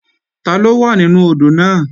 Taló wà nínú odò náà?